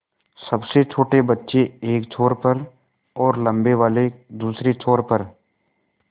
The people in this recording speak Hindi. सबसे छोटे बच्चे एक छोर पर और लम्बे वाले दूसरे छोर पर